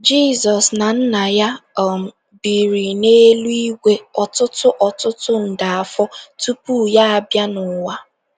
Jizọs na Nna ya um biri n’eluigwe ọtụtụ ọtụtụ nde afọ tupu ya abịa n’ụwa.